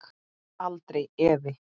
Aldrei efi.